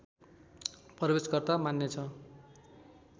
प्रवेशकर्ता मान्नेछ